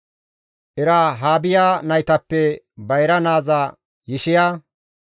Erahaabiya naytappe bayra naaza Yishiya.